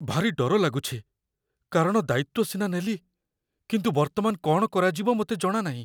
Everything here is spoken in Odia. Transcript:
ଭାରି ଡର ଲାଗୁଛି, କାରଣ ଦାୟିତ୍ୱ ସିନା ନେଲି, କିନ୍ତୁ ବର୍ତ୍ତମାନ କ'ଣ କରାଯିବ ମୋତେ ଜଣାନାହିଁ।